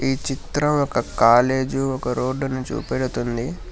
ఈ చిత్రం ఒక కాలేజు ఒక రోడ్డు ను చూపెడుతుంది.